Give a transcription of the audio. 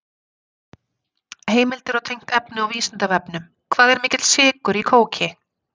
Heimildir og tengt efni á Vísindavefnum: Hvað er mikill sykur í kóki?